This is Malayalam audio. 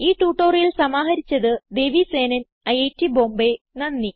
ഈ ട്യൂട്ടോറിയൽ സമാഹരിച്ചത് ദേവി സേനൻ ഐറ്റ് ബോംബേ